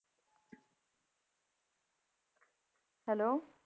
Hello